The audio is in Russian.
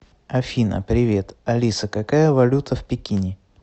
афина привет алиса какая валюта в пекине